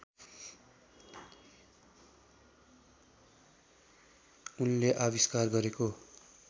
उनले आविष्कार गरेको